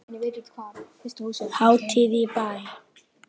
Hátíð í bæ